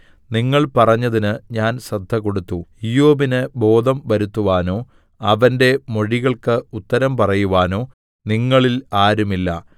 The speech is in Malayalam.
നിങ്ങൾ പറഞ്ഞതിന് ഞാൻ ശ്രദ്ധകൊടുത്തു ഇയ്യോബിന് ബോധം വരുത്തുവാനോ അവന്റെ മൊഴികൾക്ക് ഉത്തരം പറയുവാനോ നിങ്ങളിൽ ആരുമില്ല